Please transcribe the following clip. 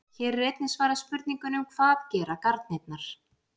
Hér er einnig svarað spurningunum: Hvað gera garnirnar?